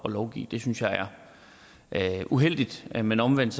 at lovgive det synes jeg er uheldigt men omvendt